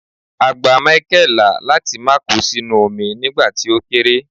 a gba Michael la láti ma ko sínú omi nigba ti o kere